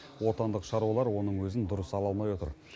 отандық шаруалар оның өзін дұрыс ала алмай отыр